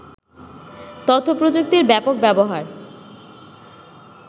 তথ্য-প্রযুক্তির ব্যাপক ব্যবহার